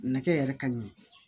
Nɛgɛ yɛrɛ ka ɲɛ